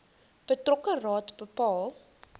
betrokke raad bepaal